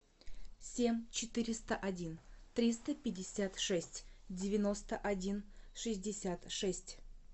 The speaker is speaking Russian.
семь четыреста один триста пятьдесят шесть девяносто один шестьдесят шесть